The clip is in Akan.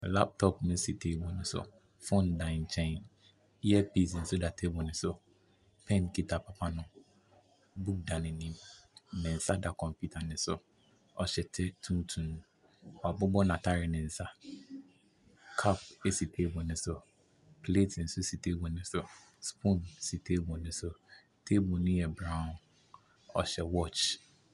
Laptop na ɛsi table no so. Phone da nkyɛn. Earpiece nso da table no so. Pen kita papa no. book da n'anim. Ne nsa da kɔmputa no so. Ɔhyɛ kyɛ tuntum. Wabobɔ n'atare no nsa. Cup si table no so. Plate nso si table no so. Spoon si table no so. Table no yɛ brown. Ɔhyɛ watch.